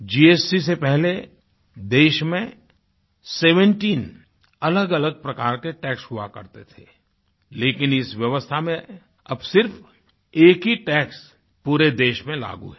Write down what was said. GST से पहले देश में 17 अलगअलग प्रकार के टैक्स हुआ करते थे लेकिन इस व्यवस्था में अब सिर्फ़ एक ही टैक्स पूरे देश में लागू है